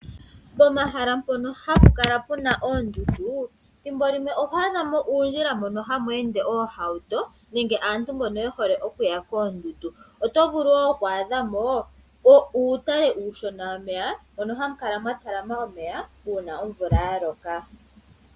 Pomahala mpono hapu kala puna oondundu thimbo limwe oho adhamo uundjila mbono hamu ende oohauto nenge aantu mbono ye hole okuya koondundu. Oto vulu wo okwaadha mo uutale uushona womeya mono hamu kala mwa talama omeya uuna omvula ya loka.